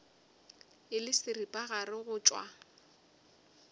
e le seripagare go tšwa